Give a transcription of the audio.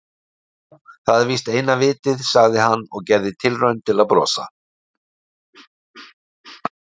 Jú, það er víst eina vitið- sagði hann og gerði tilraun til að brosa.